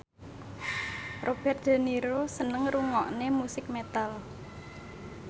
Robert de Niro seneng ngrungokne musik metal